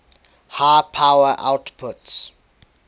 high power outputs